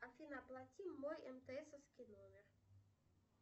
афина оплати мой мтсовский номер